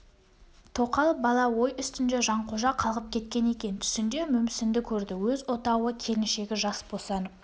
тоқал бала ой үстінде жанқожа қалғып кеткен екен түсінде мүмсінді көрді өз отауы келіншегі жас босанып